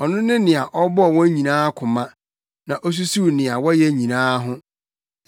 Ɔno ne nea ɔbɔɔ wɔn nyinaa koma, na osusuw nea wɔyɛ nyinaa ho.